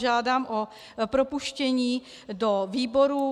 Žádám o propuštění do výborů.